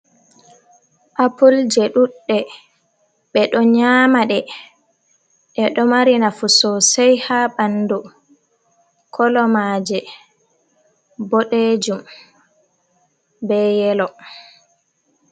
Apul je ɗuɗɗe. be ɗo nyamaɗe. Ɗeɗe mari nafu sosei ha banɗu kolomaje bodejum be yelo.